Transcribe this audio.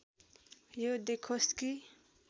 यो देखोस् कि